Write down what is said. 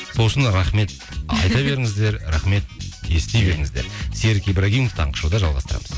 сол үшін рахмет айта беріңіздер рахмет ести беріңіздер серік ибрагимов таңғы шоуда жалғастырамыз